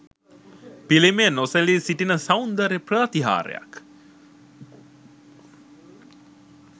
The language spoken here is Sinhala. පිළිමය නොසැලී සිටින සෞන්දර්ය ප්‍රාතිහාර්යක්.